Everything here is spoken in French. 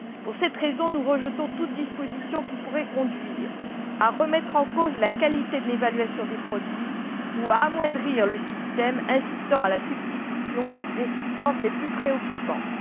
Pour cette raison, nous rejetons toute disposition qui pourrait conduire à remettre en cause la qualité de l'évaluation des produits ou à amoindrir le système incitant à la substitution des substances les plus préoccupantes.